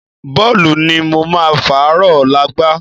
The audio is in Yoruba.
Bọ́ọ̀lù ni mo máa fàárọ̀ ọ̀la gbá